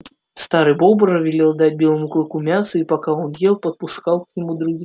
старый бобр велел дать белому клыку мяса и пока он ел подпускал к нему других